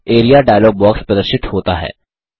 area dialog box प्रदर्शित होता है